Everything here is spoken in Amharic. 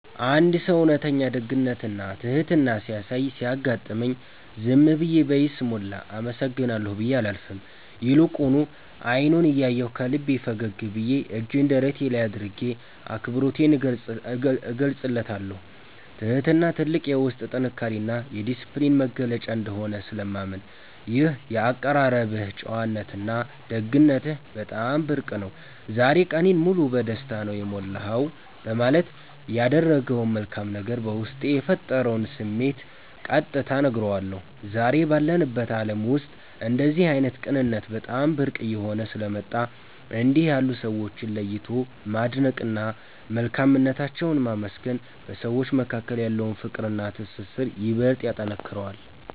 አንድ ሰው እውነተኛ ደግነትና ትሕትና ሲያሳይ ሲያጋጥመኝ፣ ዝም ብዬ በይስሙላ “አመሰግናለሁ” ብዬ አላልፍም፤ ይልቁኑ አይኑን እያየሁ፣ ከልቤ ፈገግ ብዬና እጄን ደረቴ ላይ አድርጌ አክብሮቴን እገልጽለታለሁ። ትሕትና ትልቅ የውስጥ ጥንካሬና የዲስፕሊን መገለጫ እንደሆነ ስለማምን፣ “ይህ የአቀራረብህ ጨዋነትና ደግነትህ በጣም ብርቅ ነው፤ ዛሬ ቀኔን ሙሉ በደስታ ነው የሞላኸው” በማለት ያደረገው መልካም ነገር በውስጤ የፈጠረውን ስሜት ቀጥታ እነግረዋለሁ። ዛሬ ባለንበት ዓለም ውስጥ እንደዚህ ዓይነት ቅንነት በጣም ብርቅ እየሆነ ስለመጣ፣ እንዲህ ያሉ ሰዎችን ለይቶ ማድነቅና መልካምነታቸውን ማመስገን በሰዎች መካከል ያለውን ፍቅርና ትስስር ይበልጥ ያጠነክረዋል።